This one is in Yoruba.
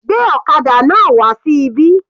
Gbé ọ̀kadà náà wà sí ibí.